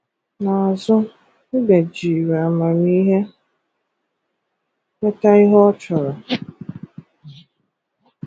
N’azụ Mbe jiri amamihe nweta ihe ọ chọrọ.